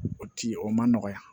O ci o ma nɔgɔ ya